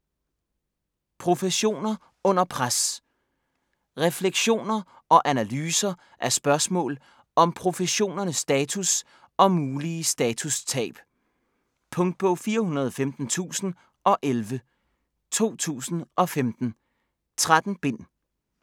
Professioner under pres Reflektioner og analyser af spørgsmål om professionernes status og mulige statustab. Punktbog 415011 2015. 13 bind.